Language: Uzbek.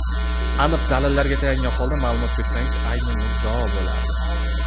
aniq dalillarga tayangan holda ma’lumot bersangiz ayni muddao bo‘lardi.